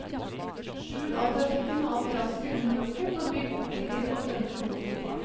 Skjul all trafikken og alt rasket under lokket og bygg boliger og grønne lunger oppå.